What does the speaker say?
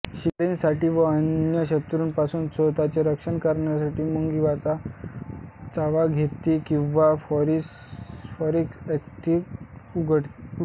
शिकारीसाठी व अन्य शत्रूंपासून स्वतःचे रक्षण करण्यासाठी मुंगी चावा घेते किंवा फॉरमिक एसिड उडवते